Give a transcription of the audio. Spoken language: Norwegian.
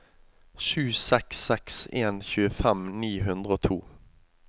sju seks seks en tjuefem ni hundre og to